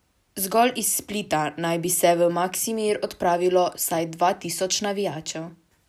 Zgolj iz Splita naj bi se v Maksimir odpravilo vsaj dva tisoč navijačev ...